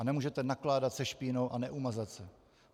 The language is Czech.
A nemůžete nakládat se špínou a neumazat se.